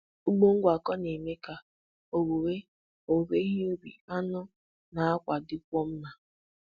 Ugbo ngwakọ na-eme ka owuwe owuwe ihe ubi, anụ, na àkwá dịkwuo mma.